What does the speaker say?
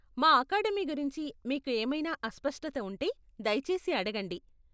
మా అకాడమీ గురించి మీకు ఏమైనా అస్పష్టత ఉంటే దయచేసి అడగండి.